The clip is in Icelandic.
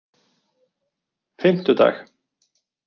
fimmtudag